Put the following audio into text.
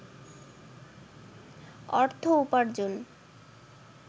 অর্থ উপার্জন